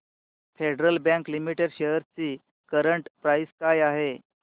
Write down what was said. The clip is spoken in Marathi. फेडरल बँक लिमिटेड शेअर्स ची करंट प्राइस काय आहे